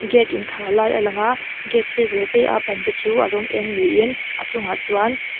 gate inkhar lai a lang a gate sir ve ve a ban te chu a rawng eng niin a chungah chuan--